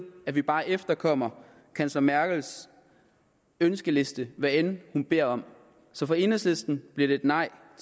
at vi bare efterkommer kansler merkels ønskeliste hvad end hun beder om så for enhedslisten bliver det et nej